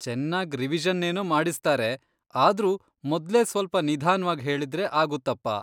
ಚೆನ್ನಾಗ್ ರಿವಿಷನ್ನೇನೋ ಮಾಡಿಸ್ತಾರೆ, ಆದ್ರೂ ಮೊದ್ಲೇ ಸ್ವಲ್ಪ ನಿಧಾನ್ವಾಗ್ ಹೇಳಿದ್ರೆ ಆಗುತ್ತಪ್ಪ.